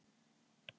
Já ó.